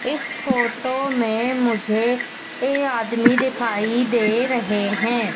इस फोटो में मुझे ये आदमी दिखाई दे रहे है।